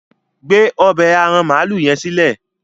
gbé ọbẹ́ aràn maalu yen silẹ!